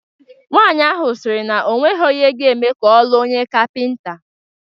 Nwaanyi ahụ sịrị na onwegho ihe ga-eme ka ọ lụọ onye kapịnta